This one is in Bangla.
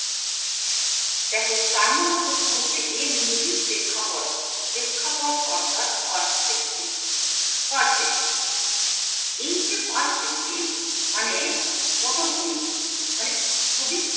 দ্যাখো চার নম্বর প্রশ্ন হচ্ছে এ মিনতির প্রেক্ষাপট কি প্রেক্ষাপট অর্থাৎ এই যে মানে পটভূমি মানে খুবই